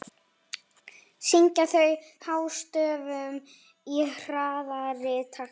Syngja þau hástöfum í hraðari takti.